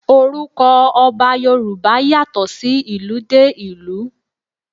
Orúkọ Ọba Yorùbá yàtọ̀ sí ìlú dé ìlú.